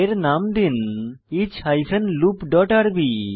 এর নাম দিন ইচ হাইফেন লুপ ডট আরবি